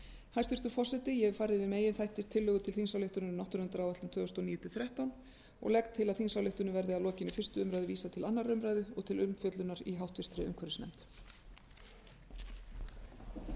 hæstvirtur forseti ég hef farið yfir meginþætti tillögu til þingsályktunar um náttúruverndaráætlun tvö þúsund og níu til tvö þúsund og þrettán og legg til að þingsályktunin verði að lokinni fyrstu umræðu vísað til annarrar umræðu og til umfjöllunar í háttvirtri umhverfisnefnd